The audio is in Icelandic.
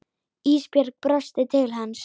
Ísbjörg brosti til hans.